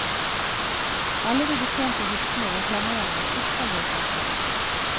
Alle de betjente hyttene reklamerer med ypperlige forhold.